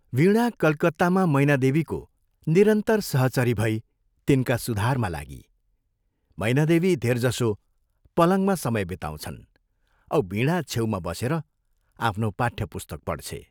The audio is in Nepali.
वीणा कलकत्तामा मैनादेवीको निरन्तर सहचरी भई तिनका सुधारमा लागी मैनादेवी धेरजसो पलङमा समय बिताउँछन् औ वीणा छेउमा बसेर आफ्नो पाठ्य पुस्तक पढ्छे।